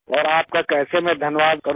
और आपका कैसे मैं धन्यवाद करूँ